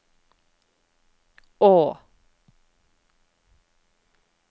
å